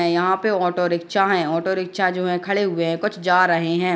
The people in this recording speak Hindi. यहाँ पे ऑटो रिक्शा हैं | ऑटो रिक्शा जो हैं खड़े हुए हैं कुछ जा रहे हैं |